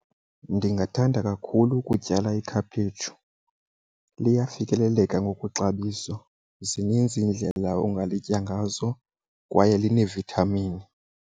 Ndingathanda kakhulu ukutyala ikhaphetshu. Liyafikeleleka ngokwexabiso zininzi iindlela ongalitya ngazo kwaye linee-vitamin.